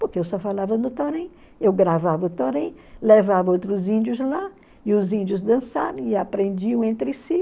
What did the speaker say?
porque eu só falava no Torém, eu gravava o Torém, levava outros índios lá, e os índios dançavam e aprendiam entre si.